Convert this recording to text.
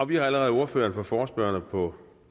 vi har allerede ordføreren for forespørgerne på